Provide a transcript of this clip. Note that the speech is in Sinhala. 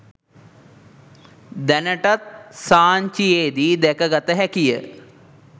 දැනටත් සාංචියේදී දැකගත හැකිය.